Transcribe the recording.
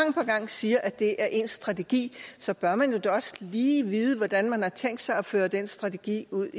siger at det er ens strategi så bør man jo da også lige vide hvordan man har tænkt sig at føre den strategi ud